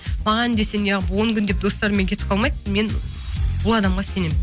маған десең неағып он күн деп достарыммен кетіп қалмайды мен бұл адамға сенемін